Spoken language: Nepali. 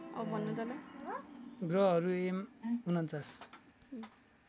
ग्रहहरू एम ४९